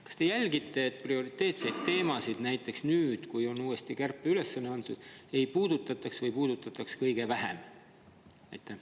Kas te jälgite seda, et prioriteetseid teemasid – näiteks nüüd, kui on uuesti kärpeülesanne antud – ei puudutataks või kui puudutatakse, siis kõige vähem?